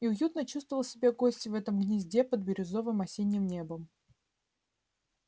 и уютно чувствовал себя гость в этом гнезде под бирюзовым осенним небом